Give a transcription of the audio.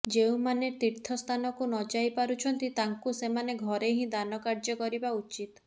ଯେଉଁମାନେ ତୀର୍ଥ ସ୍ଥାନକୁ ନଯାଇ ପାରୁଛନ୍ତି ତାଙ୍କୁ ସେମାନେ ଘରେ ହିଁ ଦାନ କାର୍ଯ୍ୟ କରିବା ଉଚିତ୍